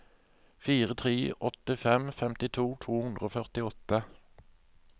fire tre åtte fem femtito to hundre og førtiåtte